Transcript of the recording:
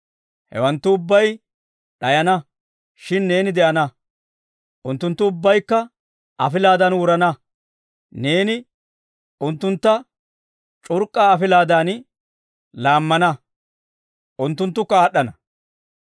Hewanttu ubbay d'ayana; shin neeni de'ana; unttunttu ubbaykka afilaadan wurana. Neeni unttuntta c'urk'k'a afilaadan laammana; unttunttukka aad'd'ana.